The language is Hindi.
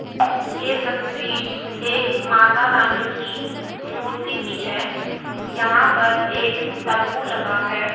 ये तस्वीर एक माता रानी की मूर्ति की है यहां पर एक तंबू लगा है।